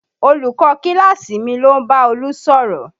Olùkọ́ kíláàsì mi ló ń bá Olú sọ̀rọ̀